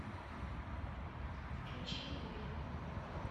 включи злой